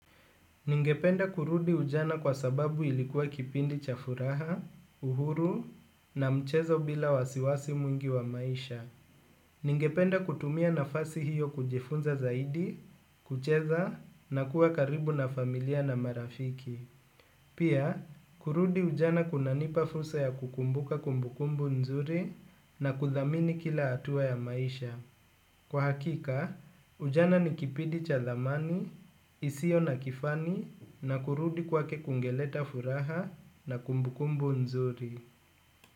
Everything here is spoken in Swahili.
Ningependa kurudi ujana kwa sababu ilikuwa kipindi cha furaha, uhuru, na mchezo bila wasiwasi mwingi wa maisha. Ningependa kutumia nafasi hiyo kujifunza zaidi, kucheza, na kuwa karibu na familia na marafiki. Pia, kurudi ujana kunanipa fursa ya kukumbuka kumbukumbu nzuri na kuthamini kila hatua ya maisha. Kwa hakika, ujana ni kipindi cha thamani isiyo na kifani na kurudi kwake kungeleta furaha na kumbukumbu nzuri.